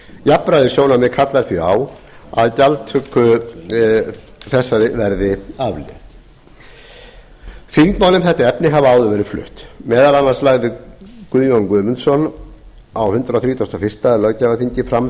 jafnræðissjónarmið kalla því á að gjaldtöku þessari verði aflétt þingmál um þetta efni hafa áður verið flutt meðal annars lagði guðjón guðmundsson á hundrað þrítugasta og fyrsta löggjafarþingi fram